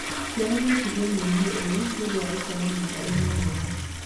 Ciana no cigĩe mũrimũ ũyũ nĩũndũ wa gũkoma nyũmba ĩna heho.